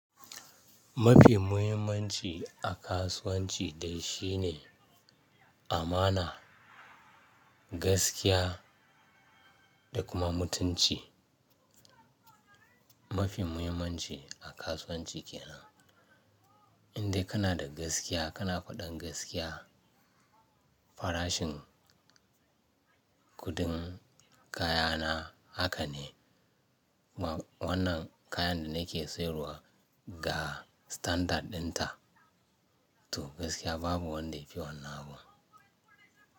Mafi muhimmanci a kasuwanci dai shi ne amana, gaskiya, da kuma mutunci. Mafi muhimmanci a kasuwanci ke nan. Indai kana da gaskiya, kana faɗan gaskiya, farashin kuɗin kaya na haka ne, wannan kayan da nake sayarwa ga standard ɗinta, to gaskiya babu wanda yafi wannan abun.